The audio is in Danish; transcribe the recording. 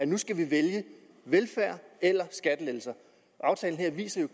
nu skal vi vælge velfærd eller skattelettelser aftalen her viser jo